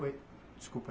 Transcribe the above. Oi, desculpa.